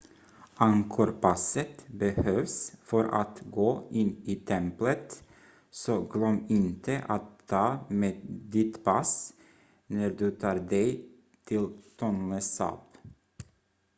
angkorpasset behövs för att gå in i templet så glöm inte att ta med ditt pass när du tar dig till tonle sap